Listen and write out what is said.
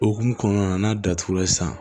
Okumu kɔnɔna na n'a datugula sisan